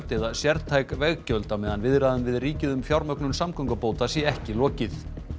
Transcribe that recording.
eða sértæk veggjöld á meðan viðræðum við ríkið um fjármögnun samgöngubóta sé ekki lokið